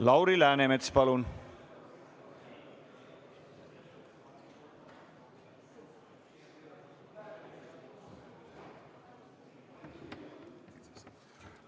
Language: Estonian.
Lauri Läänemets, palun!